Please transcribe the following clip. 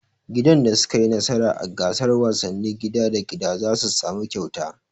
Gidan da su ka yi nasara a gasar wasannin gida da gida zasu samu kyauta